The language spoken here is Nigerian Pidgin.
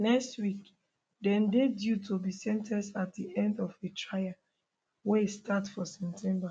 next week dem dey due to be sen ten ced at di end of a trial wey start for september